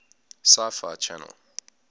sci fi channel